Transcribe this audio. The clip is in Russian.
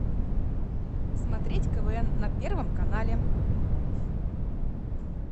смотреть квн на первом канале